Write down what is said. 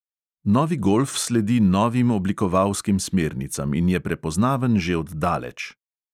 Novi golf sledi novim oblikovalskim smernicam in je prepoznaven že od daleč.